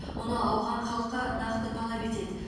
мұны ауған халқы нақты талап етеді